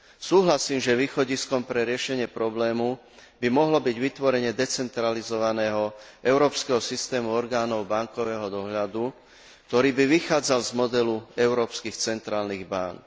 Súhlasím, že východiskom pre riešenie problému by mohlo byť vytvorenie decentralizovaného európskeho systému orgánov bankového dohľadu, ktorý by vychádzal z modelu európskych centrálnych bánk.